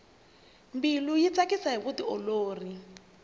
mbilu yi tsakisa hi vutiolori